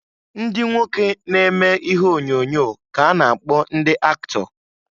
Ndị nwoke na-eme ihe onyoonyo ka-a na-akpọ ndị aktọ.